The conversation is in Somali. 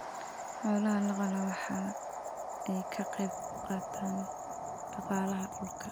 Xoolaha la qala waxa ay ka qayb qaataan dhaqaalaha dalka.